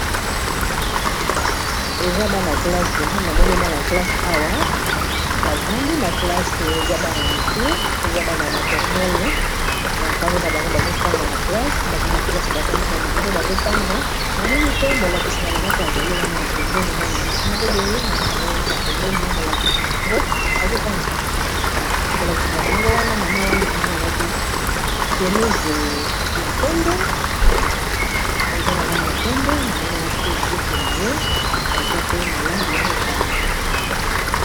eza bana klasse na moni bana classe awa bavandi na klasse eza bana ya mite eza bana ya maternele bavandi na bango bazotanga na classe bazai na klasse bavandi na bango bazotanga namoni pe molakisi na bango mpe azali wana na pembeni mwana mwasi moko boye aza na ye wana na pembeni molakiiaganisaangomolakisi na bango wana mama wana na moni elati shemise ya pembe eza na langi ya pembe na moni elati mpe jp na ye eza pe na langi ya motane